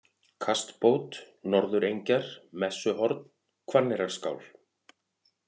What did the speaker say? Kastbót, Norðurengjar, Messuhorn, Hvanneyrarskál